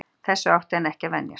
Þessu átti hann ekki að venjast.